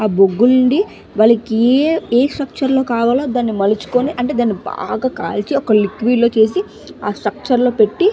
ఆ బొగ్గు నుండి వానికి ఏ ఏ సెక్షన్ లో కావాలో దాన్ని మలుచుకొని అంటే దాన్ని బాగా కాల్చి ఒక లిక్విడ్ లో చూసి ఆ స్ట్రక్చర్ లో పెట్టి --